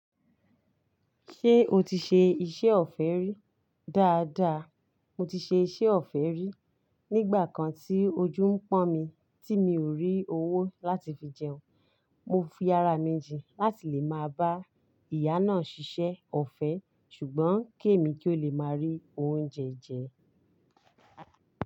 Ṣé o ti ṣe iṣẹ́ ọ̀fẹ́ rí? Dáadáa, mo ti ṣe iṣẹ́ ọ̀fẹ́ rí nígbà kan tí ojú ń pọ́n mi tí mi ò rí owó láti fi jẹun. Mo fi ara mi jìn láti lè máa bá ìyá náà ṣiṣẹ́ ọ̀fẹ́ ṣùgbọ́n ké mi kí ó lè máa rí oúnjẹ jẹ.